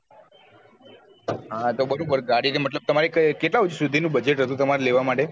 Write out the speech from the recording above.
હા તો બરોબર ગાડી મતલબ કે તમારે. કેટલા સુધી ની budget હતું તમારે લેવા માટે